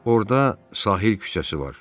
Orda Sahil küçəsi var.